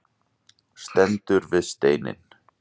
Stendur við steininn.